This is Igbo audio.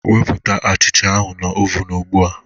Wepụta achicha ahụ na oven ugbu a